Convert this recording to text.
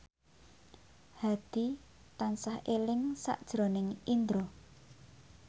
Hadi tansah eling sakjroning Indro